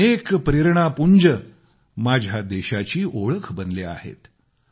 असे अनके प्रेरणा पुंज माझ्या देशाची ओळख बनले आहेत